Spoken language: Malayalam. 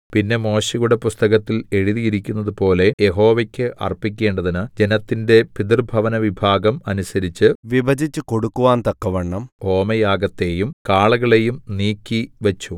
പിന്നെ മോശെയുടെ പുസ്തകത്തിൽ എഴുതിയിരിക്കുന്നത് പോലെ യഹോവയ്ക്ക് അർപ്പിക്കേണ്ടതിന് ജനത്തിന്റെ പിതൃഭവനവിഭാഗം അനുസരിച്ച് വിഭജിച്ച് കൊടുക്കുവാൻ തക്കവണ്ണം ഹോമയാഗത്തെയും കാളകളെയും നീക്കി വെച്ചു